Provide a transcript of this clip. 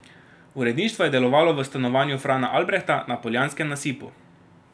Uredništvo je delovalo v stanovanju Frana Albrehta na Poljanskem nasipu.